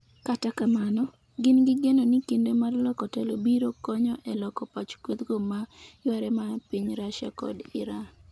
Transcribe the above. kata kamano, gin gi geno ni kinde mar loko telo biro konyo e loko pach kwethgo ma yware mar piny Russia kod Iran